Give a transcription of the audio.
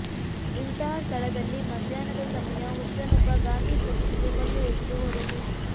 ಇಂತಹ ಸ್ಥಳದಲ್ಲಿ ಮಧ್ಯಾಹ್ನದ ಸಮಯ ಹುಚ್ಚನೊಬ್ಬ ಗಾಂಧಿ ಪ್ರತಿಮೆಗೆ ಕಲ್ಲು ಎಸೆದು ಹೋದನು